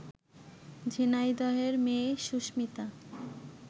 ঝিনাইদহের মেয়ে সুস্মিতা